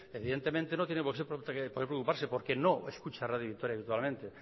evidentemente no tiene por que preocuparse porque no escucha radio vitoria habitualmente